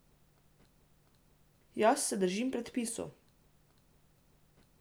Jaz se držim predpisov.